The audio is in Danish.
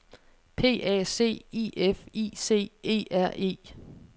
P A C I F I C E R E